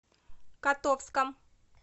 котовском